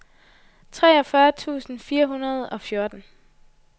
treogfyrre tusind fire hundrede og fjorten